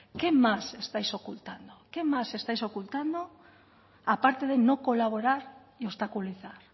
qué más estáis ocultando qué más estáis ocultando aparte de no colaborar y obstaculizar